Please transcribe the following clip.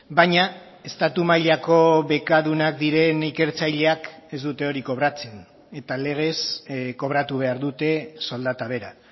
baina estatu mailako bekadunak diren ikertzaileak ez dute hori kobratzen eta legez kobratu behar dute soldata bera